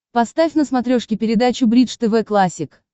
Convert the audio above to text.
поставь на смотрешке передачу бридж тв классик